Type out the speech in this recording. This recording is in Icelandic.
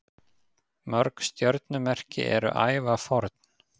Mörg stjörnumerki eru ævaforn.